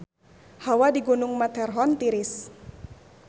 Hawa di Gunung Matterhorn tiris